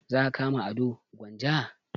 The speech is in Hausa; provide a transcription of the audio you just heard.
Za a kama ado gwanja?